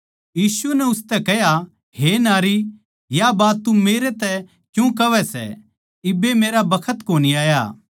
यीशु नै उसतै कह्या हे नारी या बात तू मेरे तै क्यूँ कहवै सै इब्बे मेरा बखत कोनी आया